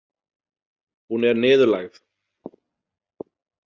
Hún er niðurlægð.